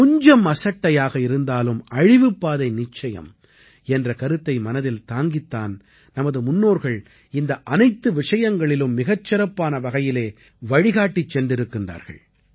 கொஞ்சம் அசட்டையாக இருந்தாலும் அழிவுப்பாதை நிச்சயம் என்ற கருத்தை மனதில் தாங்கித் தான் நமது முன்னோர்கள் இந்த அனைத்து விஷயங்களிலும் மிகச் சிறப்பான வகையிலே வழிகாட்டிச் சென்றிருக்கிறார்கள்